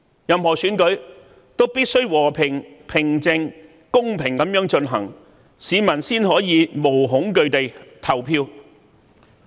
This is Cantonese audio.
任何選舉均必須和平、平靜和公平地進行，市民才可無懼地投票。